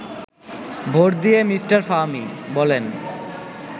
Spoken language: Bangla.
ভোট দিয়ে মিস্টার ফাহমি বলেন